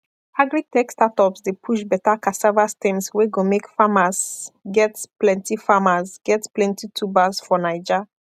agritech startups dey push better cassava stems wey go make farmers get plenty farmers get plenty tubers for naija